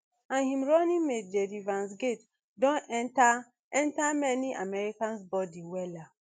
and im running mate jd vance gate don enta enta many americans bodi wella